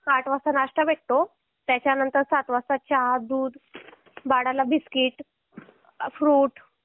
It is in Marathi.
आठ वाजता नाश्ता भेटतो आणि त्यानंतर चहा बिस्कीट बाळाला दूध